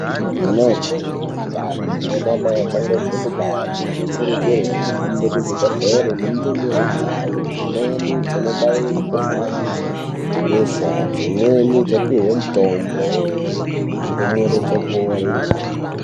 Anamai ane ndani nanamai achangobve kubare anokurudzirwa kuhambe kuchibhedhlera nendumure dzayo dzimweni dzonobayiwe mikhuhlani yebesha, dzimweni dzopiwe mitombo, ndumure dzopore.